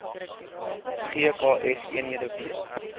gks eenhede weet